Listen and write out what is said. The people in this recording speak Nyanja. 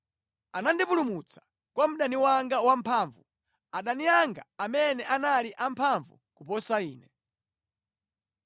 Anandipulumutsa kwa mdani wanga wamphamvu, adani anga amene anali amphamvu kuposa ine.